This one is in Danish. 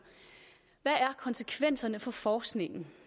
hvad er konsekvenserne for forskningen